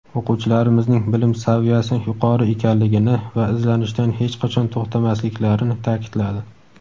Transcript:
o‘quvchilarimizning bilim saviyasi yuqori ekanligini va izlanishdan hech qachon to‘xtamasliklarini ta’kidladi.